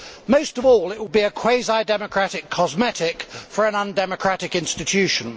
Most of all, it will be a quasi democratic cosmetic for an undemocratic institution.